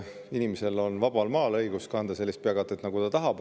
Inimesel on vabal maal õigus kanda sellist peakatet, nagu ta tahab.